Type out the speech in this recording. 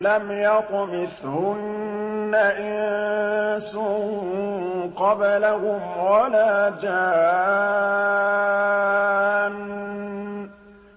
لَمْ يَطْمِثْهُنَّ إِنسٌ قَبْلَهُمْ وَلَا جَانٌّ